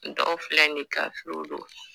Dɔw filɛ nin ye kafiriw don